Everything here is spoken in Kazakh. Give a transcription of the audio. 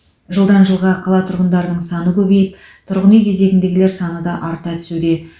жылдан жылға қала тұрғындарының саны көбейіп тұрғын үй кезегіндегілер саны да арта түсуде